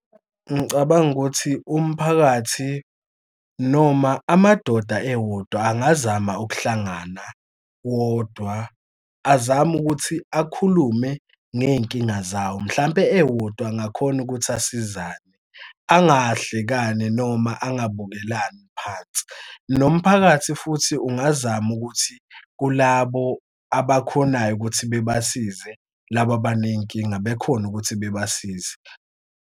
Ngicabanga ukuthi umphakathi noma amadoda ewodwa angazama ukuhlangana wodwa azame ukuthi akhulume ngey'nkinga zawo mhlampe ewodwa angakhona ukuthi asizane angahlekani noma angabukelani phansi. Nomphakathi futhi ungazama ukuthi kulabo abakhonayo ukuthi bebasize laba abaney'nkinga bekhona ukuthi bebasize.